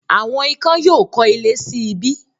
“Àwọn ikán” yóò kọ́ ilé sí ibí.